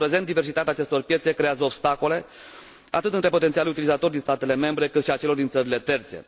În prezent, diversitatea acestor piețe creează obstacole, atât între potențialii utilizatori din statele membre, cât și pentru cei din țările terțe.